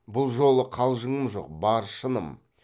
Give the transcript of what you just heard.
бұл жолы қалжыңым жок бар шыным